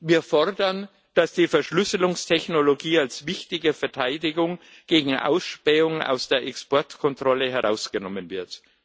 Wir fordern, dass die Verschlüsselungstechnologie als wichtige Verteidigung gegen Ausspähung aus der Exportkontrolle herausgenommen wird.